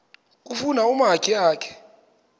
kufuna umakhi akhe